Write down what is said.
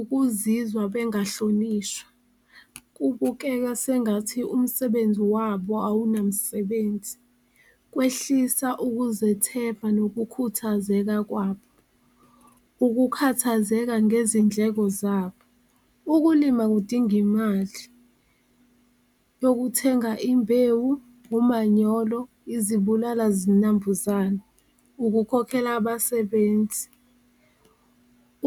Ukuzizwa bengahlonishwa kubukeka sengathi umsebenzi wabo awunamsebenzi, kwehlisa ukuzethemba nokukhuthazeka kwabo, ukukhathazeka ngezindleko zabo. Ukulima kudinga imali yokuthenga imbewu, umanyolo, izibulala-zinambuzane, ukukhokhela abasebenzi